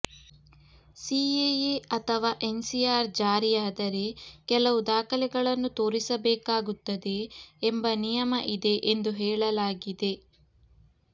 CAA ಅಥವಾ NCR ಜಾರಿಯಾದರೆ ಕೆಲವು ದಾಖಲೆಗಳನ್ನು ತೋರಿಸಬೇಕಾಗುತ್ತದೆ ಎಂಬ ನಿಯಮ ಇದೆ ಎಂದು ಹೇಳಲಾಗಿದೆ